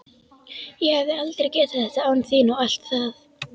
Ég hefði aldrei getað þetta án þín og allt það.